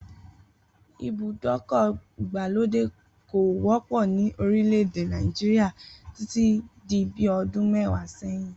Ibùdókò̩ ìgbàlódè kò wó̩pò̩ ní orílè̩-èdè Nàìjíríà títí di bí o̩dún mé̩wàá sé̩yìn